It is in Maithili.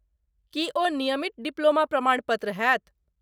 की ओ नियमित डिप्लोमा प्रमाणपत्र होयत?